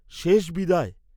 শেষ বিদায়?